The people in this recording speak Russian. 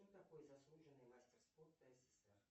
кто такой заслуженный мастер спорта ссср